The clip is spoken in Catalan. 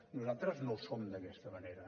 nosaltres no ho som d’aquesta manera